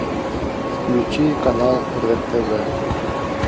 включи канал рен тв